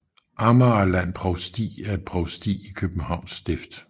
Amagerland Provsti er et provsti i Københavns Stift